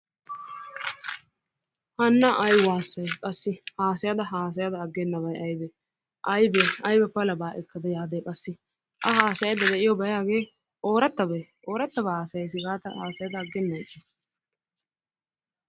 Hana ay waasay qassi haasayda hassyda ageenaabay aybee ayba palabaa ekkada yaade qassi a haasayayida de'iyobay hay hagee oorattabee oorattabaa haasayassi gaada aggenan ixxay